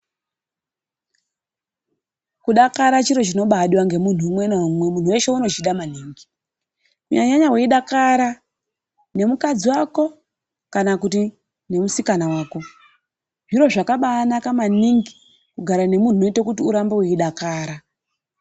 Kudakara chiro chinobadiwa nemuntu umwe naumwe muntu veshe unochida kunyanya nyanya veidakara nemukadzi vako kana kuti nemusikana vako. Zviro zvakanaka maningi kugara nemuntu unoite kuti urambe veidakara.